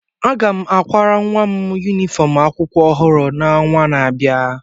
m akwara nwa m yunifọm akwụkwọ ọhụrụ n'ọnwa na-abịa